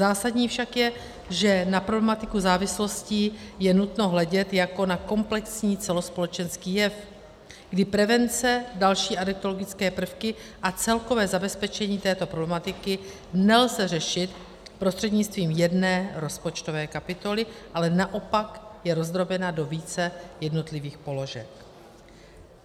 Zásadní však je, že na problematiku závislostí je nutno hledět jako na komplexní celospolečenský jev, kdy prevence, další adiktologické prvky a celkové zabezpečení této problematiky nelze řešit prostřednictvím jedné rozpočtové kapitoly, ale naopak je rozdrobena do více jednotlivých položek.